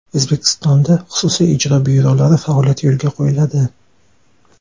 O‘zbekistonda xususiy ijro byurolari faoliyati yo‘lga qo‘yiladi.